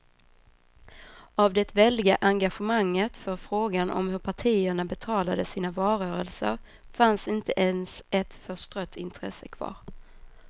Av det väldiga engagemanget för frågan om hur partierna betalade sina valrörelser fanns inte ens ett förstrött intresse kvar.